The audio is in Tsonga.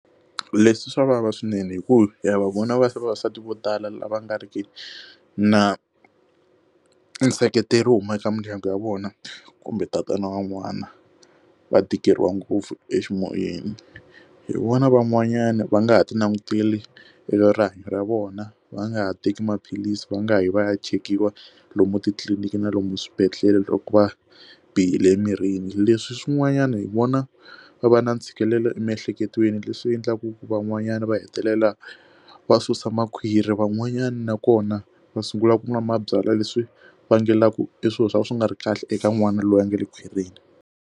Ku leswi swa vava swinene hi ku ya vavanuna va se vavasati vo tala lava nga riki na nseketelo huma eka mindyangu ya vona kumbe tatana wan'wana va tikeriwa ngopfu eximoyeni hi vona van'wanyana va nga ha ti languteli erihanyo ra vona va nga ha teki maphilisi va nga yi va ya chekiwa lomu titliliniki na lomu swibedhlele loko va bihile emirini leswi swin'wanyana hi vona va va na ntshikelelo emiehleketweni leswi endlaku ku van'wanyana va hetelela va susa makhwiri van'wanyana nakona va sungula ku nwa mabyalwa leswi vangelaku i swilo swo ka swi nga ri kahle eka n'wana loyi a nga le khwirini.